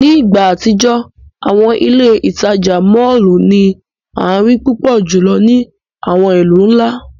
Ni igba atijọ, awọn ile-itaja mọllu ni a rii pupọ julọ ni awọn ilu nla.